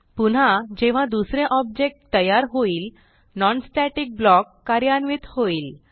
पुन्हा जेव्हा दुसरे ऑब्जेक्ट तयार होईल non स्टॅटिक ब्लॉक कार्यान्वित होईल